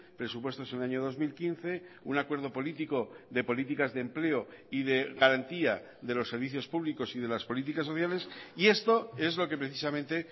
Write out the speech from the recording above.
presupuestos en el año dos mil quince un acuerdo político de políticas de empleo y de garantía de los servicios públicos y de las políticas sociales y esto es lo que precisamente